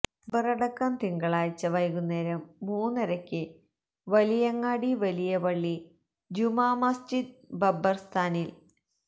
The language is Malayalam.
ഖബറടക്കം തിങ്കളാഴ്ച വൈകുന്നേരം മൂന്നരക്ക് വലിയങ്ങാടി വലിയ പള്ളി ജുമാമസ്ജിദ് ഖബർസ്ഥാനിൽ